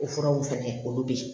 O furaw fɛnɛ olu be yen